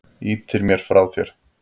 Ýtir mér frá þér.